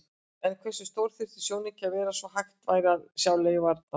En hversu stór þyrfti sjónauki að vera svo hægt væri að sjá leifarnar?